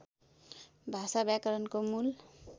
भाषा व्याकरणको मूल